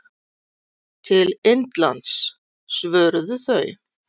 Til Indlands, svöruðu þau.